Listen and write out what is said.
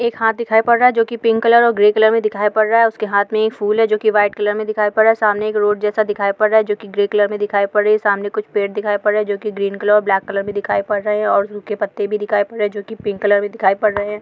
एक हाथ दिखाई पड़ रहा है जो की पिंक कलर और ग्रे कलर में दिखाई पड़ रहा है| उसके हाथ में ये फूल है जो की व्हाइट कलर में दिखाई पड़ रहा है| सामने एक रोड जैसा दिखाई पड़ रहा है जो की ग्रे कलर में दिखाई पड़ रहा है| सामने कुछ पेड़ दिखाई पड़ रहे हैं जो ग्रीन कलर और ब्लेक कलर में दिखाई पड़ रहे हैं और उनके पत्ते भी दिखाई पड़ रहे हैं जो की पिंक कलर में दिखाई पड़ रहे हैं।